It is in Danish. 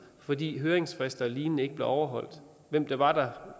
fordi høringsfrister og lignende ikke blev overholdt og hvem det var der